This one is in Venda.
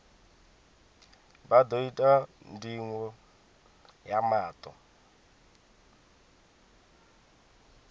vha ḓo itwa ndingo ya maṱo